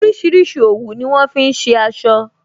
Orísìírísìí òwú ni wọn fi ṣe aṣọ